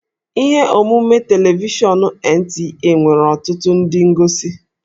Ihe omume telivishọn NTA nwere ọtụtụ ndị ngosi